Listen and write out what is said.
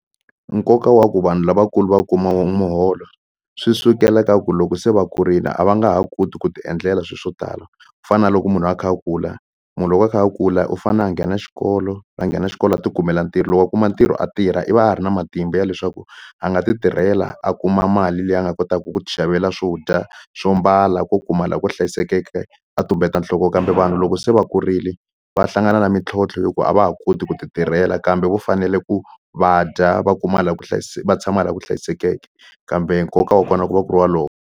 Nkoka wa ku vanhu lavakulu va kuma muholo swi sukela ka ku loko se va kurile a va nga ha koti ku ti endlela swilo swo tala ku fana na loko munhu a kha a kula munhu loko a kha a kula u fanele a nghena xikolo a nghena xikolo a ti kumela ntirho loko a kuma ntirho a tirha i va a ri na matimba ya leswaku a nga ti tirhela a kuma mali leyi a nga kotaka ku ti xavela swo dya swo mbala ko kuma laha ku hlayisekeke a tumbeta nhloko kambe vanhu loko se va kurile va hlangana na mintlhontlho hikuva a va ha koti ku ti tirhela kambe vo fanele ku va dya va kuma laha ku va tshama laha ku hlayisekeke kambe nkoka wa kona wa ku va ku ri wolowo.